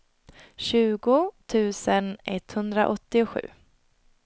tjugo tusen etthundraåttiosju